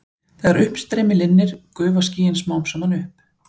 Þegar uppstreymi linnir gufa skýin smám saman upp.